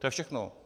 To je všechno.